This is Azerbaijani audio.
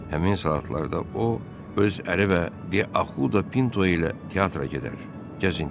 Həmin saatlarda o, öz əri və de Ahuda Pinto ilə teatra gedər, gəzintiyə çıxardı.